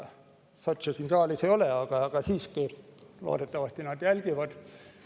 Sotse siin saalis ei ole, aga nad loodetavasti jälgivad.